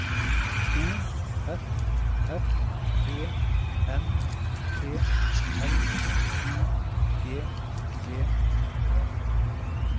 O F F E N T L I G E